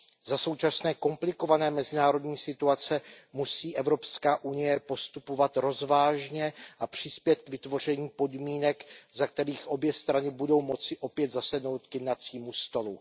Za současné komplikované mezinárodní situace musí Evropská unie postupovat rozvážně a přispět k vytvoření podmínek, za kterých obě strany budou moci opět zasednout k jednacímu stolu.